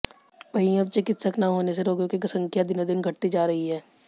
वहीं अब चिकित्सक न होने से रोगियों की संख्या दिनोंदिन घटती जा रही है